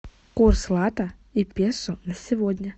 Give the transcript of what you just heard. курс лата и песо на сегодня